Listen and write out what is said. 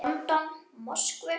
London, Moskvu.